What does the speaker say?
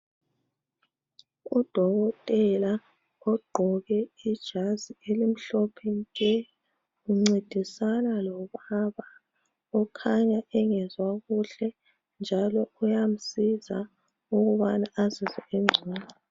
Udokotela ugqoke ijazi elimhlophe nke uncedisana lomama okhanya engezwa kuhle njalo uyamsiza ukubana azizwe engcono.